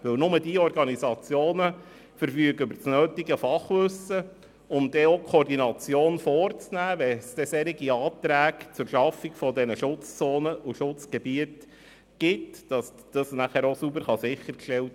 Denn diese Organisationen verfügen über das nötige Fachwissen, um die nötige Koordination vorzunehmen und sauber sicherzustellen, wenn Anträge zur Schaffung von Schutzzonen und Schutzgebieten vorliegen.